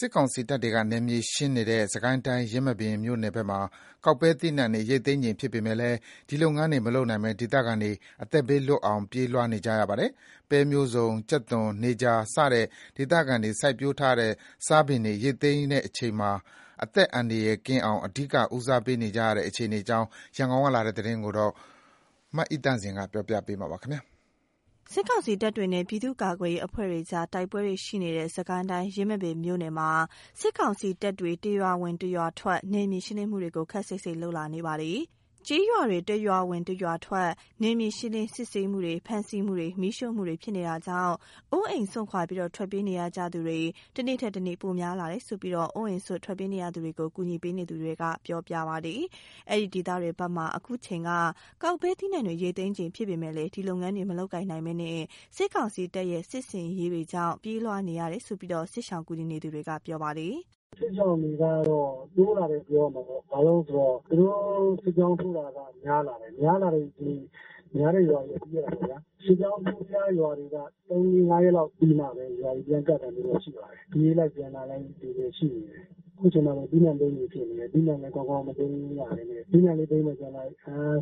စစ်ကောင်စီတပ်တွေက နယ်မြေရှင်းနေတဲ့ စစ်ကိုင်းတိုင်း ယင်းမာပင်မြို့နယ်ဘက်မှာ ကောက်ပဲသီးနှံတွေ ရိတ်သိမ်းချိန်ဖြစ်ပေမယ့် ဒီလုပ်ငန်းတွေ မလုပ်နိုင်ဘဲ ဒေသခံတွေ အသက်ဘေးလွတ်အောင် ပြေးလွှားနေကြရပါတယ်။ ပဲမျိုးစုံ၊ ကြက်သွန်၊ နေကြာစတဲ့ ဒေသခံတွေ စိုက်ပျိုးထားတဲ့ စားပင်တွေ ရိတ်သိမ်းရမယ့်အချိန်မှာ အသက်အန္တရာယ်ကင်းအောင် အဓိကဦးစားပေးနေကြရတဲ့ အခြေအနေအကြောင်း ရန်ကုန်ကလာတဲ့ သတင်းကို မအိသန့်စင်က တင်ပြပေးထားပါတယ်။ စစ်ကောင်စီတပ်တွေနဲ့ ပြည်သူ့ကာကွယ်ရေးအဖွဲ့တွေကြား တိုက်ပွဲတွေရှိနေတဲ့ စစ်ကိုင်းတိုင်း ယင်းမာပင်မြို့ နယ်မှာ စစ်ကောင်စီတပ်တွေ တရွာဝင် တရွာထွက် နယ်မြေရှင်းလင်းမှုတွေကို ခပ်စိတ်စိတ်လုပ်လာနေပါတယ်။ ကျေးရွာတွေ တရွာဝင် တရွာထွက် နယ်မြေရှင်းလင်း စစ်ဆေးမှုတွေ၊ ဖမ်းဆီးမှုတွေ၊ မီးရှို့မှုတွေ ဖြစ်နေတာကြောင့် အိုးအိမ်ပစ် ထွက်ပြေးနေကြရသူတွေ တနေ့ထက်တနေ့ ပိုများလာတယ်လို့ အိုးအိမ်စွန့် ထွက်ပြေးနေရသူတွေကို ကူညီပေးနေသူတွေက ပြောပြပါတယ်။ အဲဒီဒေသတွေဘက်မှာ အခုအချိန်က ကောက်ပဲသီးနှံတွေ ရိတ်သိမ်းချိန်ဖြစ်ပေမယ့် ဒီလုပ်ငန်းတွေ မလုပ်ကိုင်နိုင်ဘဲ စစ်ကောင်စီတပ်ရဲ့ စစ်ဆင်ရေးကြောင့် ပြေးလွှား နေကြရတာလို့ စစ်ရှောင်ကူညီနေသူက ပြောပါတယ်။ “စစ်ရှောင်တွေကတော့ တိုးလာတယ်ပြောရမှာပေါ့။ ဘာလို့ဆိုတော့ သူတို့ စစ်ကြောင်းထိုးတာက များလာတယ်။ အများအားဖြင့် ရွာတွေက ပြေးရတာပေါ့ဗျ။ စစ်ကြောင်းထိုးထားတဲ့ ရွာတွေက ၃- ၄- ၅ ရက်လောက်ပြီးမှပဲ ရွာတွေ ပြန်ကပ်တာမျိုးတော့ ရှိပါတယ်။ ပြေးလိုက်ပြန်လာလိုက်တွေလည်း ရှိနေတယ်။ အခုချိန်မှာဆိုရင် သီးနှံသိမ်းချိန်ဖြစ်နေတယ်။ သီးနှံလည်း ကောင်းကောင်းမသိမ်းနိုင်၊ သီးနှံကိုသိမ်းမယ်လုပ်လိုက်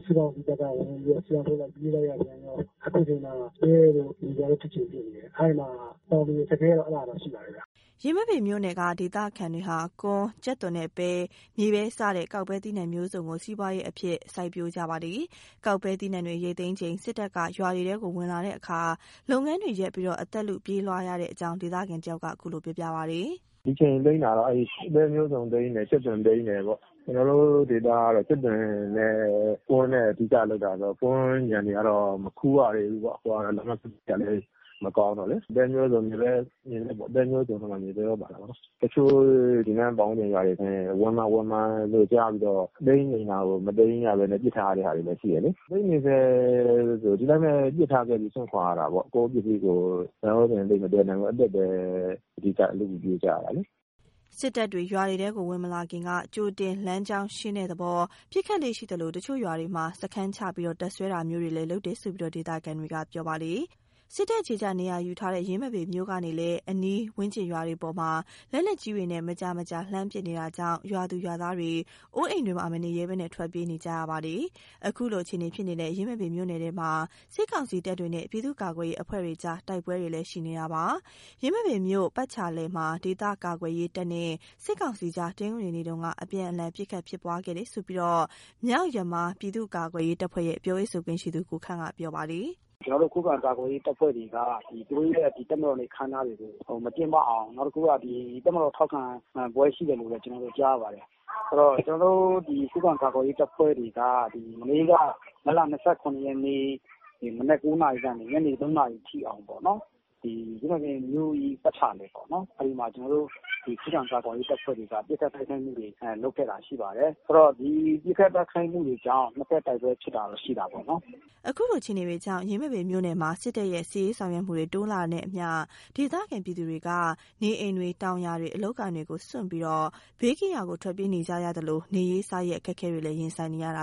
စစ်ကောင်စီတပ်က ဝင်ပြီးတော့ စစ်ကြောင်းထိုးလိုက် ပြေးလိုက်ရပြန်ရော အခုချိန်မှာ ပဲတို့ မြေပဲတို့ ကောက်ချိန်ဖြစ်နေတယ်။ အဲ့မှာ တောင်သူအခက်အခဲကတော့ အဲ့ဒါတော့ ရှိပါတယ်ဟုတ်။” ယင်းမာပင်မြို့နယ်က ဒေသခံတွေဟာ ကွမ်း၊ ကြက်သွန်နဲ့ ပဲ၊ မြေပဲစတဲ့ ကောက်ပဲသီးနှံမျိုးစုံကို စီးပွားရေးအဖြင့် စိုက်ပျိုးကြပါတယ်။ ကောက်ပဲသီးနှံတွေ ရိတ်သိမ်းချိန် စစ်တပ်က ရွာတွေထဲ ဝင်လာတဲ့အခါ လုပ်ငန်းတွေရပ်ပြီး အသက်လု ပြေးလွှားရတဲ့အကြောင်း ဒေသခံတယောက်ကလည်း ခုလိုပြောပါတယ်။ “ဒီအချိန် သိမ်းတာတော့ အဲ့ပဲမျိုးစုံသိမ်းတယ်။ ကြက်သွန်သိမ်းတယ်ပေါ့။ ကျနော်တို့ ဒေသကတော့ ကြက်သွန် နဲ့ ကွမ်းနဲ့ အဓိကလုပ်တာဆိုတော့ ကွမ်းခြံတွေကတော့ မခူးရသေးဘူးပေါ့။ လမ်းပန်းဆက်သွယ်ရေးကလည်း မကောင်းတော့လေး။ ပဲမျိုးစုံ မြေပဲပေါ့၊ ပဲမျိုးစုံလည်း ပါတယ်။ မြေပဲလည်း ပါတာပေါ့နော်။ တချို့ ဒီနားပတ်ဝန်းကျင်တွေဆိုရင် ဝင်မှာ ဝင်မှာလို့ ကြားပြီးတော့ သိမ်းချိန်တာကို မသိမ်းရဘဲနဲ့ ပစ်ထားတဲ့ဟာတွေလည်း ရှိတယ်လေး။ သိမ်းနေဆဲဆိုရင် ဒီတိုင်းပဲ ပစ်ထားခဲ့ပြီး စွန့်ခွာရတာပေါ့။ ကိုယ့် ပစ္စည်းကိုယ် သံယောဇဉ်သိပ်မသယ်နိုင်ဘူးပေါ့။ အသက်ပဲ အဓိက လုပြီးပြေးကြရတာလေ။” စစ်တပ်တွေ ရွာတွေထဲ ဝင်မလာခင်ကတည်းက ကြိုတင်လမ်းကြောင်းရှင်းတဲ့သဘော ပစ်ခတ်လေ့ရှိသလို တချို့ရွာတွေမှာ စခန်းချ တပ်စွဲတာမျိုးတွေလည်း လုပ်တယ်လို့ ဒေသခံတွေက ပြောပါတယ်။ စစ်တပ် အခြေ ချ နေရာယူထားတဲ့ ယင်းမာပင်မြို့ကနေလည်း အနီးဝန်းကျင်ရွာတွေအပေါ် လက်နက်ကြီးတွေနဲ့ မကြာ မကြာလှမ်းပစ်နေတာကြောင့် ရွာသူ ရွာသားတွေ နေအိမ်တွေမှာ မနေရဲဘဲ ထွက်ပြေးနေကြရတာဖြစ်ပါတယ်။ ခုလိုအခြေအနေဖြစ်နေတဲ့ ယင်းမာပင်မြိုှု့နယ်ထဲမှာ စစ်ကောင်စီတပ်တွေနဲ့ ပြည်သူ့ကာကွယ်ရေးအဖွဲ့တွေကြား တိုက်ပွဲတွေလည်း ရှိနေပါတယ်။ ယင်းမာပင်မြို့ပတ်ချာလည်မှာ ဒေသကာကွယ်ရေးတပ်နဲ့ စစ်ကောင်စီအကြား တနင်္ဂနွေနေ့က အပြန်အလှန် ပစ်ခတ်ဖြစ်ပွားခဲ့တယ်လို့ မြောက်ယမား ပြည်သူ့ကာကွယ်ရေးတပ်ဖွဲ့ရဲ့ ပြောရေးဆိုခွင့်ရှိသူ ကိုခန့်က ပြောပါတယ်။ “ကျနော်တို့ရဲ့ ခုခံကာကွယ်ရေးတပ်ဖွဲ့တွေက သူတို့ရဲ့ ဒီတပ်မတော်နေ့အခမ်းအနားတွေကို မကျင်းပအောင် နောက်တခုက တပ်မတော်ထောက်ခံပွဲရှိတယ်လို့ပဲ ကျနော်တို့ ကြားရပါတယ်။ အဲ့တော့ ဒီခုခံကာကွယ်ရေးတပ်တွေက မနေ့က မတ်လ ၂၇ ရက်နေ့ မနက် ၉ နာရီကနေ ညနေ ၃နာရီထိအောင်ပေါ့နော်။ ယင်းမာပင်မြို့ရဲ့ ပတ်ချာလည်ပေါ့နော်။ အဲ့မှာ ကျနော်တို့ ခုခံကာကွယ်ရေးတပ်ဖွဲ့တွေက ပစ်ခတ်တိုက်ခိုက်မှုတွေ လုပ်ခဲ့တာရှိပါတယ်။ ဆိုတော့ ဒီပစ်ခတ်တိုက်ခိုက်မှုတွေကြောင့် နှစ်ဘက်တိုက်ပွဲဖြစ်တာတော့ ရှိတာပေ့ါနော်။” ခုလိုအခြေအေနေတွေကြောင့် ယင်းမာပင်မြို့နယ်မှာ စစ်တပ်ရဲ့ စစ်ရေးဆောင်ရွက်မှုတွေ တိုးနေတာနဲ့အမျှ ဒေသခံပြည်သူတွေမှာ နေအိမ်တွေ၊ တောင်ယာတွေ၊ အလုပ်အကိုင်တွေကို စွန့်ပြီး ဘေးကင်းရာ ထွက်ပြေးနေကြရသလို နေရေးစားရေး အခက်အခဲတွေ ရင်ဆိုင်နေကြရပါတယ်